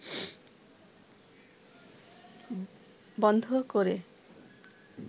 বন্ধ করে